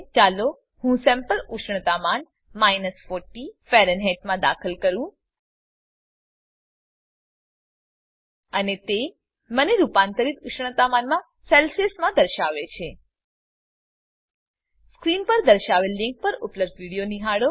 ચાલો હું સેમ્પલ ઉષ્ણતામાન 40 ફેરનહેઇટમાં દાખલ કરું અને તે મને રૂપાંતરિત ઉષ્ણતામાનમા સેલ્સીઅસમાં દર્શાવે છે સ્ક્રીન પર દર્શાવેલ લીંક પર ઉપલબ્ધ વિડીયો નિહાળો